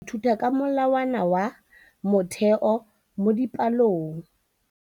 Baithuti ba ithuta ka molawana wa motheo mo dipalong.